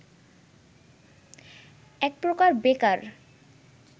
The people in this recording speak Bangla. এক প্রকার বেকার